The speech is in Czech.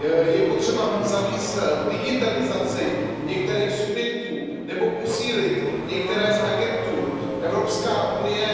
Je potřeba zavést digitalizaci některých subjektů nebo posílit některé z agentur Evropské unie.